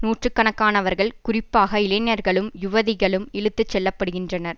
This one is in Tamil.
நூற்று கணக்கானவர்கள் குறிப்பாக இளைஞர்களும் யுவதிகளும் இழுத்து செல்லப்படுகின்றனர்